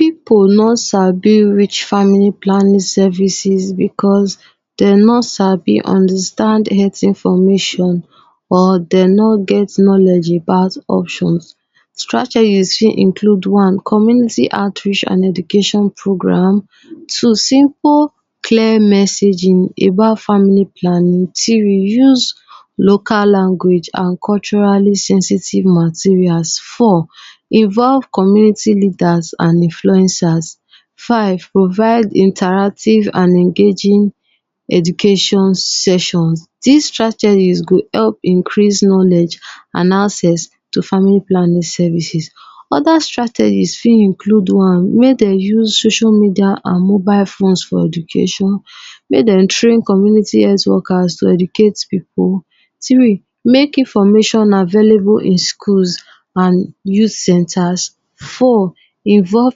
Pipu no sabi reach family planning services because dem no sabi understand health information or dem no get knowledge about options. Strategies fit include one, community outreach and education programs. Two simple clear messaging about family planning. Three use local language and culturally sensitive materials. four involve communities leader and influencers. five provide interactive and engaging education sessions. Dis strategies go help increase knowledge and access to family planning services. Other strategies fit include one, make dem use social media and mobile phones for education, make dem train community health workers to educate pipu. Three, make information available in schools and use centers. four, involve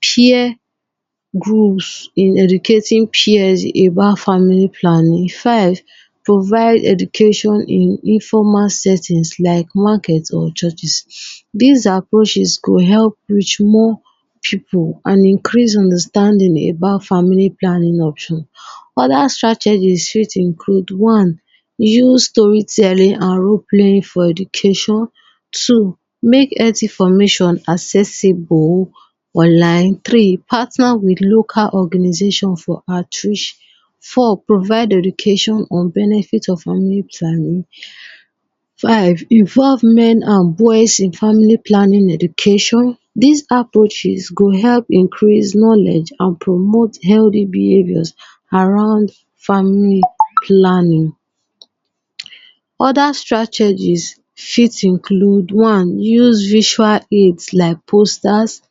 peer groups, in educating peers about family planning. Five provide education in informal settings like market or churches. Dis approaches go help reach more pipu and increase understanding about family planning options. other strategies fit include one, use story telling and role playing for education. Two make health information accessible online. Three partner with local organization for outreach. four provide education for benefit of family planning. Five involve men and boys in family planning education. Dis approaches go help increase knowledge and promote healthy behaviors around family planning. Other strategies fit include one, use visual aids like posters,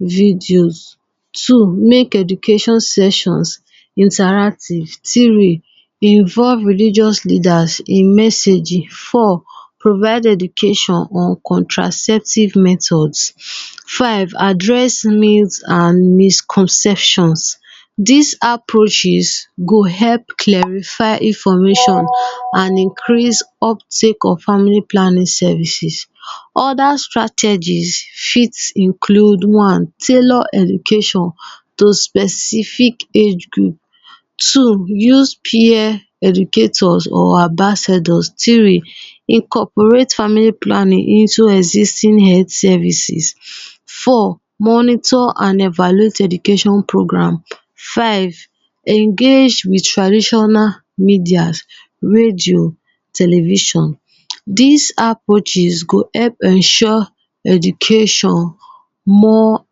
videos. Two, make education sessions interactive. Three, involve religious leaders in messaging. Four provide education on contraceptive methods. Five address means and misconception. Dis approaches go help clarify information and increase uptake of family planning services. other strategies fit include one, tailor education to specific age group. Two use peer educators or ambassadors. Three, incorporate family planning into existing health services. Four monitor and evaluate program. Five engage with traditional medias, radio, television. Dis approaches go help ensure education more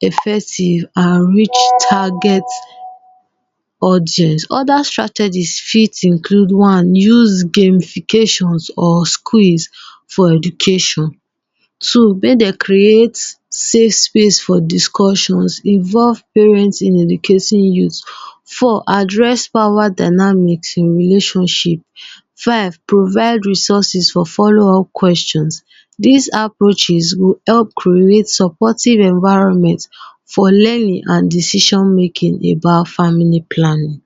effective and reach target audience. other strategies fit include one, use gamifications or quiz for education. Two make dem create safe space for discussions involve parent in educating youth. Four, dress power dynamic in relationship. Five provide resources for follow up questions. Dis approaches go help create supportive environment for learning and decision making about family planning